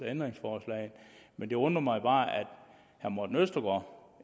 ændringsforslaget men det undrer mig bare at herre morten østergaard